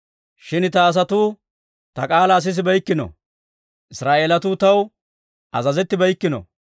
«Shin ta asatuu ta k'aalaa sisibeykkino; Israa'eelatuu taw azazettibeykkino.